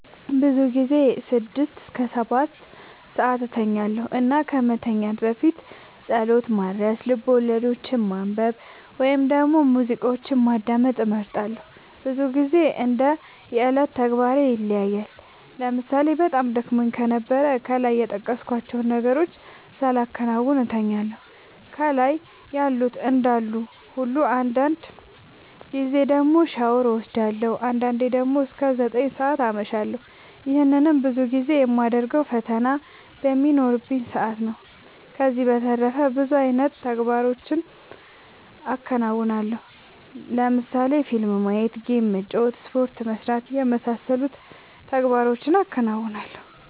ብዙ ጊዜ ስድስት እስከ ሰባትሰዓት እተኛለሁ እና ከመተኛት በፊት ፀሎት ማድረስ፣ ልቦለዶችን ማንበብ ወይም ደግሞ ሙዚቃዎችን ማዳመጥ እመርጣለሁ። ብዙ ግዜ እንደ የዕለት ተግባሬ ይለያያል ለምሳሌ በጣም ደክሞኝ ከነበረ ከላይ የጠቀስኳቸውን ነገሮች ሳላከናውን እተኛለሁ ከላይ ያሉት እንዳሉ ሁሉ አንዳንድ ጊዜ ደግሞ ሻወር ወስዳለሁ። አንዳንዴ ደግሞ እስከ ዘጠኝ ሰዓት አመሻለሁ ይህንንም ብዙ ጊዜ የማደርገው ፈተና በሚኖረኝ ሰአት ነው። ከዚህ በተረፈ ብዙ አይነት ተግባሮችን አከናወናለሁ ለምሳሌ ፊልም ማየት ጌም መጫወት ስፖርት መስራት የመሳሰሉት ተግባሮቹን አከናውናለሁ።